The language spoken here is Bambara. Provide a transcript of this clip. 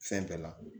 Fɛn bɛɛ la